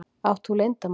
Átt þú leyndarmál?